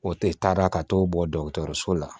O tɛ taara ka t'o bɔ dɔgɔtɔrɔso la